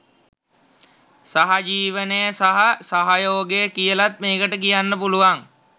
සහජීවනය සහ සහයෝගය කියලත් මේකට කියන්න පුළුවන්.